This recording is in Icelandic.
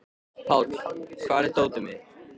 Páll, hvar er dótið mitt?